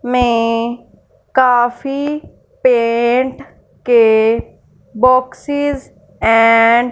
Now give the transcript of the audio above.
में काफी पेंट के बॉक्सेस एंड --